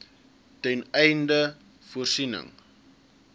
ten einde voorsiening